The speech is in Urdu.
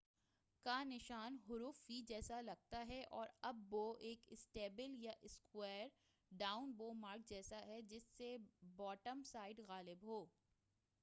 up bow کا نشان حرف وی جیسا لگتا ہے اور down bow mark ایک اسٹیپل یا اسکویر جیسا جس سے باٹم سائڈ غائب ہو